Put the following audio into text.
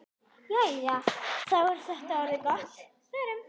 Jæja, þá er þetta orðið gott. Förum.